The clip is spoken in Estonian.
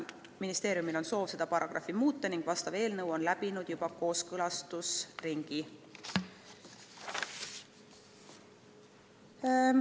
Ministeeriumil on soov seda paragrahvi muuta ning sellekohane eelnõu on läbinud juba kooskõlastusringi.